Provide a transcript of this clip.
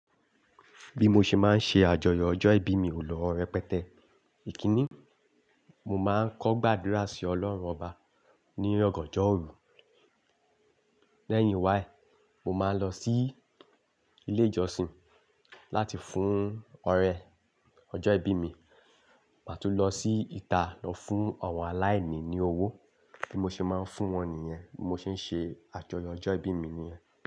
Bí mo ṣe máa ń ṣe àjọyọ̀ ọjọ́ ìbí mi o lo repẹtẹ, ìkíní, mo máa ń kọ́ gbàdúrà sí ọlọ́run ọba ní ọ̀gànjọ́ òru, lẹ́yìn wá e, mo máa ń lọ sí ilé ìjọsìn láti fún ọrẹ ọjọ́ ìbí mi, màá tún lọ sí ìta lọ fún àwọn aláìní ní owó tí mo ṣe máa ń fún wọn nìyẹn, bí mo ṣe ń ṣe àjọyọ̀ ọjọ́ ìbí mi nìyẹn.